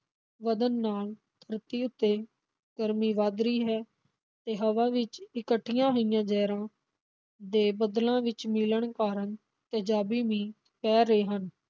ਵਧਣ ਨਾਲ ਧਰਤੀ ਉੱਤੇ ਗਰਮੀ ਵਧ ਰਹੀ ਹੈ ਤੇ ਹਵਾ ਵਿੱਚ ਇਕੱਠੀਆਂ ਹੋਈਆਂ ਜ਼ਹਿਰਾਂ ਦੇ ਬੱਦਲਾਂ ਵਿਚ ਮਿਲਣ ਕਾਰਨ ਤੇਜ਼ਾਬੀ ਮੀਂਹ ਪੈ ਰਿਹਾ ਹਨ।